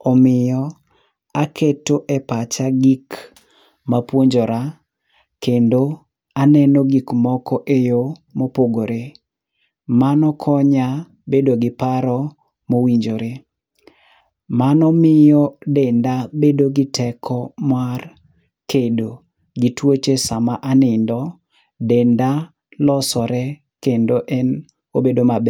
omiyo aketo e pacha gik mapuonjora, kendo aneno gik moko eyo mopogore. Mano konya bedo gi paro mowinjore. Mano miyo denda bedo gi teko mar kedo gi tuoche sama anindo, denda losore kendo en obedo maber.